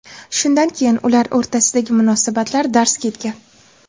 Shundan keyin ular o‘rtasidagi munosabatlar darz ketgan.